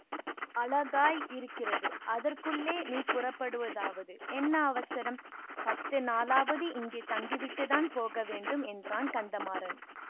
அழகாயிருக்கிறது அதற்குள்ளே நீ புறப்படுவதாவது என்ன அவசரம் பத்து நாளாவது இங்கே தங்கிவிட்டுத்தான் போக வேண்டும் என்றான் கந்தமாறன்